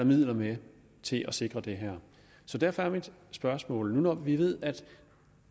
midler med til at sikre det her derfor er mit spørgsmål når vi ved at